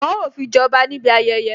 Wọn ó fi jẹ ọba níbi ayẹyẹ